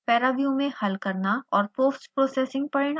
paraview में हल करना और postprocessing परिणाम